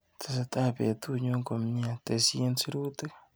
Tesetai betunyu komnyee, tesyi sirutik.